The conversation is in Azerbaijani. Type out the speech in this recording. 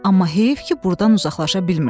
Amma heyif ki burdan uzaqlaşa bilmirsən.